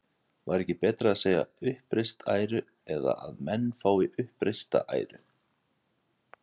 Væri ekki betra að segja uppreist æra eða að menn fái uppreista æru?